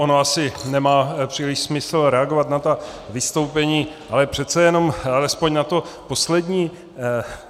Ono asi nemá příliš smysl reagovat na ta vystoupení, ale přece jenom alespoň na to poslední.